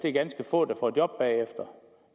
er ganske få der får job bagefter